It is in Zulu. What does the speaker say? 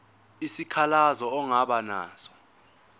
isikhalazo ongaba naso